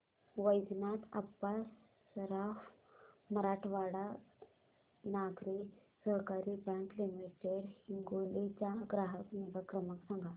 वैजनाथ अप्पा सराफ मराठवाडा नागरी सहकारी bank limited Hingoli चा ग्राहक निगा क्रमांक सांगा